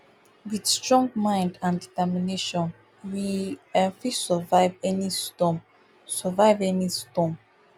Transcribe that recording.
wit strong mind and determination we um fit survive any storm survive any storm